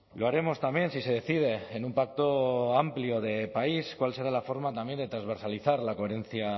lo haremos también si se decide en un pacto amplio de país cuál será la forma también de transversalizar la coherencia